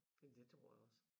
Jamen det tror jeg også